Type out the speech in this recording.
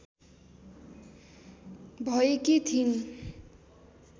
भएकी थिइन्